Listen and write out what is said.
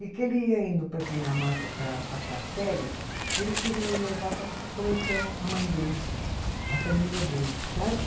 E que ele ia indo para a Dinamarca para passar férias, ele quis me levar para conhecer a mãe dele, a família dele, sabe?